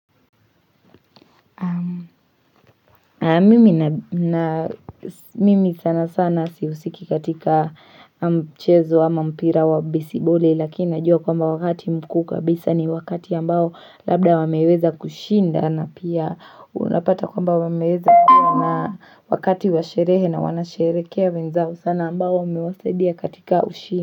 Mimi sana sana sihusiki katika mchezo ama mpira wa besiboli lakini najua kwamba wakati mkuu kabisa ni wakati ambao labda wameweza kushinda na pia unapata kwamba wameweza pia na wakati wa sherehe na wanasherehekea wenzao sana ambao wamewasaidia katika ushinda.